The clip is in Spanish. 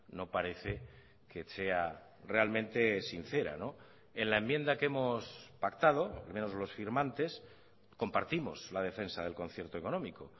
no parece que sea realmente sincera en la enmienda que hemos pactado al menos los firmantes compartimos la defensa del concierto económico